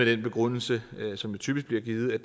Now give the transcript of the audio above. den begrundelse som typisk bliver givet at